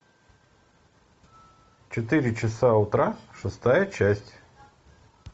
четыре часа утра шестая часть